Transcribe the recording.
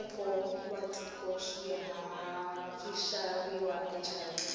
swilaveko watiko swishaviwa achina